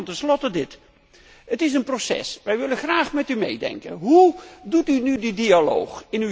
Tenslotte nog dit het is een proces, wij willen graag met u meedenken. Hoe voert u nu de dialoog?